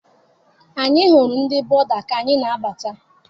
Anyị hụrụ ndị Buda ka anyị na-abata.